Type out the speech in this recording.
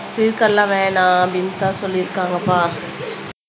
இதுக்கெல்லாம் வேணாம் அப்படின்னுதான் சொல்லியிருக்காங்கப்பா